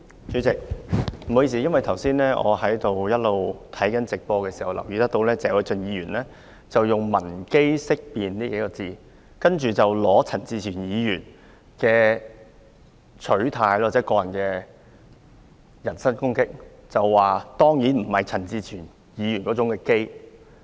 主席，不好意思，我剛才看直播的時候留意到，謝偉俊議員用了"聞基色變"這數個字，然後用陳志全議員的取態來進行人身攻擊，他說當然不是陳志全議員那種"基"。